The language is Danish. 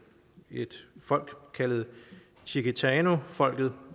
et folk kaldet chiquitanofolket